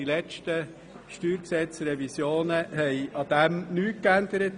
Die letzten Steuergesetzrevisionen haben daran nichts geändert.